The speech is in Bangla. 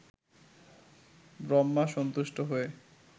ব্রহ্মা সন্তুষ্ট হয়ে